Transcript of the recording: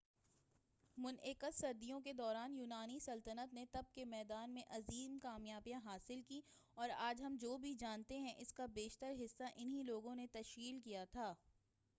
متعدد صدیوں کے دوران یونانی سلطنت نے طب کے میدان میں عظیم کامیابیاں حاصل کیں اور آج ہم جو بھی جانتے ہیں اسکا بیشتر حصّہ انھیں لوگوں نے تشکیل کیا تھا